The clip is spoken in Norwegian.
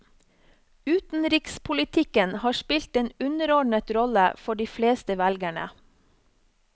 Utenrikspolitikken har spilt en underordnet rolle for de fleste velgerne.